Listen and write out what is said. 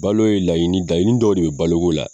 Balo ye laɲinin, laɲinin dɔw de bɛ balo ko la.